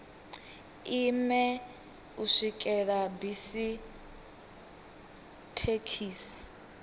ime u swikela bisi thekhisi